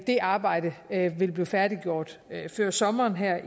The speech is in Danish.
det arbejde vil blive færdiggjort før sommeren her